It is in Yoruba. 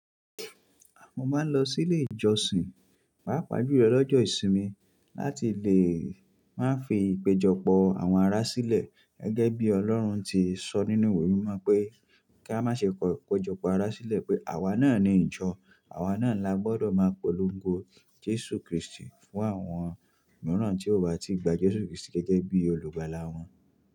Mọ máa ń lọ sílé ìjọsìn, pàápàá jùlọ lọ́jọ́ ìsinmi láti lè máa fi ìpéjọpọ̀ àwọn ará sílẹ̀ gẹ́gẹ́bí Ọlọ́run ti sọ nínú ìwé mímọ pé, kí a má ṣe kọ ìpéjọpọ̀ ará sílẹ̀ pé àwa náà ni ìjọ, àwa náà là gbọ́dọ̀ máa polongo Jésù Krístì fún àwọn mìíràn tí ò bá ti gba Jésù Krístì gẹ́gẹ́ bí olùgbàlà wọn.